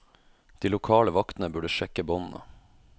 De lokale vaktene burde sjekke båndene.